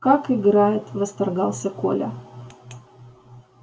как играет восторгался коля